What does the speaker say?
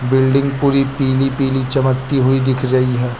Building पूरी पीली पीली चमकती हुई दिख रही है।